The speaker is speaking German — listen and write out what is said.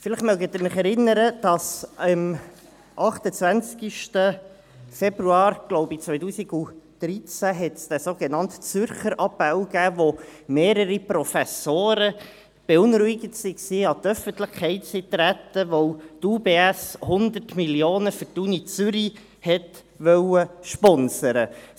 Vielleicht erinnern Sie sich, dass es am 28. Februar, ich glaube 2013, den sogenannten «Zürcher Appell» gab, als mehrere Professoren beunruhigt waren und an die Öffentlichkeit traten, weil die UBS 100 Mio. Franken für die Universität Zürich sponsern wollte.